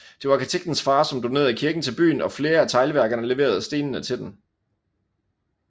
Det var arkitektens far som donerede kirken til byen og flere af teglværkerne leverede stenene til den